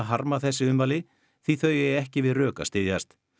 harma þessi ummæli því þau eigi ekki við rök að styðjast